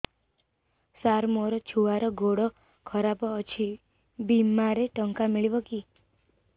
ସାର ମୋର ଛୁଆର ଗୋଡ ଖରାପ ଅଛି ବିମାରେ ଟଙ୍କା ମିଳିବ କି